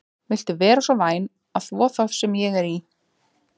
Viltu vera svo væn að þvo þá sem ég er í?